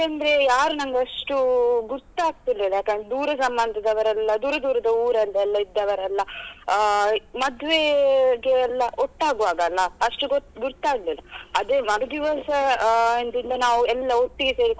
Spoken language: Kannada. ಯಾಕಂದ್ರೆ ಯಾರು ನನ್ಗೆ ಅಷ್ಟು ಗುರ್ತಾಗ್ತಿರ್ಲಿಲ್ಲ ಯಾಕಂದ್ರೆ ದೂರ ಸಂಬಂಧದವರೆಲ್ಲಾ ದೂರ ದೂರದ ಊರಲ್ಲಿ ಎಲ್ಲ ಇದ್ದವರೆಲ್ಲಾ ಆಹ್ ಮದ್ವೇಗೆ ಎಲ್ಲ ಒಟ್ಟಾಗುವಾಗ ಅಲ್ಲ ಅಷ್ಟು ಗುರ್ತ ಆಗ್ಲಿಲ್ಲಾ ಅದೇ ಮರುದಿವಸ ಆಹ್ ದಿಂದ ನಾವು ಎಲ್ಲ ಒಟ್ಟಿಗೆ ಸೇರಿಕೊಂಡೆಲ್ಲಾ.